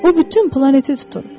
O bütün planeti tutur.